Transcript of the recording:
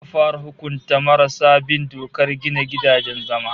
Za'a fara hukunta marasa bin dokar gina gidajen zama